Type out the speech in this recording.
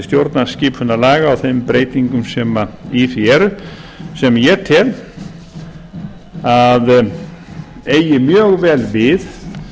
stjórnarskipunarlaga og þeim breytingum sem í því eru sem ég tel að eigi mjög vel við